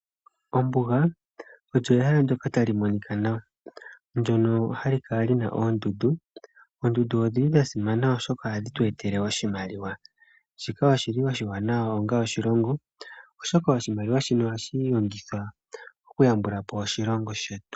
Ombuga olyo ehala ndoka taĺu monika nawa, ndono hali kala lina oondundu. Oondundu odhili dha simana oshoka ohadhi tu etele oshimaliwa, shika oshili oshiwaanawa onga oshiĺongo, oshoka oshimaliwa shino ohashi longithwa oku yambula po oshilongo shetu.